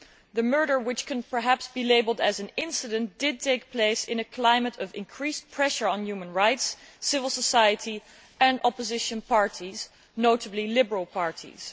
The murder, which can perhaps be labelled as an incident', took place in a climate of increased pressure on human rights, civil society and opposition parties, and notably liberal parties.